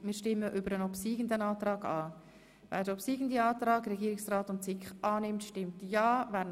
Sie haben den Antrag von Regierungsrat und SiK angenommen.